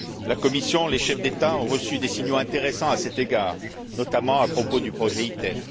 La Commission, les chefs d'État ont reçu des signaux intéressants à cet égard, notamment à propos du projet ITER.